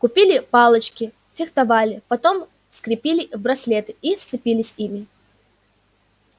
купили палочки фехтовали потом скрепили в браслеты и сцепились ими